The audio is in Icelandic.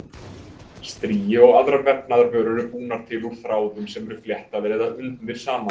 Strigi og aðrar vefnaðarvörur eru búnar til úr þráðum sem eru fléttaðir eða undnir saman.